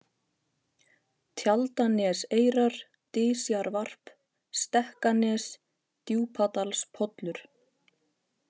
Tjaldaneseyrar, Dysjarvarp, Stekkanes, Djúpadalspollur